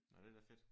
Nå det er da fedt